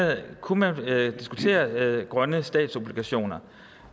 man kunne diskutere grønne statsobligationer